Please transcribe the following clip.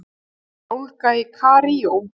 Mikil ólga í Kaíró